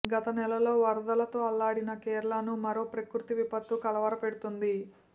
గత నెలలో వరదలతో అల్లాడిన కేరళను మరో ప్రకృతి విపత్తు కలవరపెడుతోంది